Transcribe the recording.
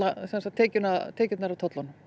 tekjurnar tekjurnar af tollunum